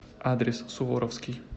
адрес суворовский